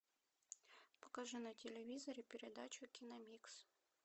покажи на телевизоре передачу киномикс